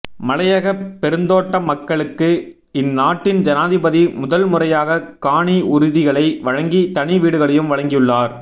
மலையக பெருந்தோட்ட மக்களுக்கு இந்நாட்டின் ஜனாதிபதி முதல் முறையாக காணி உறுதிகளை வழங்கி தனி வீடுகளையும் வழங்கியுள்ளார்